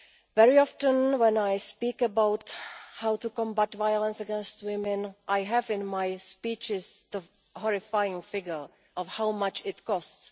Very often when I speak about how to combat violence against women I have in my speeches the horrifying figure of how much it costs.